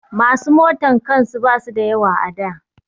Masu motan kan su ba su da yawa a da